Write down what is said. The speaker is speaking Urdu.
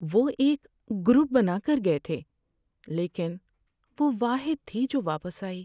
وہ ایک گروپ بنا کر گئے تھے لیکن وہ واحد تھی جو واپس آئی۔